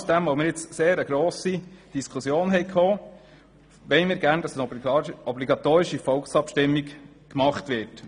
Genau aus dem Grund, dass wir eine sehr grosse Diskussion geführt haben, wollen wir, dass eine obligatorische Volksabstimmung durchgeführt wird.